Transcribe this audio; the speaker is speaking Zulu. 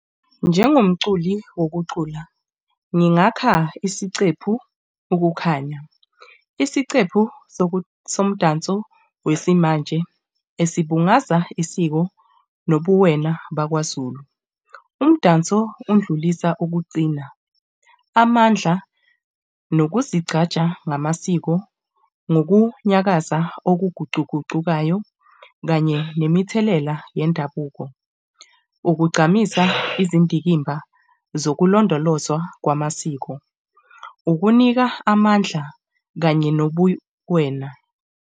Njengomculo wokucula, ngingakha isicephu ukukhanya. Isicephu somdanso wesimanje esibungaza isiko nobuwena bakwaZulu. Umdanso undlulisa ukuqina, amandla nokuzigqaja ngamasiko, nokunyakaza okuguquguqukayo kanye nemithelela yendabuko. Ukugqamisa izindikimba zokulondolozwa kwamasiko. ukunika amandla kanye nobuwena.